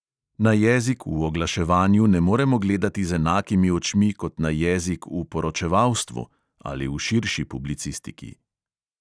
Na jezik v oglaševanju ne moremo gledati z enakimi očmi kot na jezik v poročevalstvu (ali v širši publicistiki).